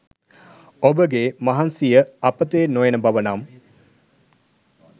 ඔබ ගේ මහන්සිය අපතේ නොයන බව නම්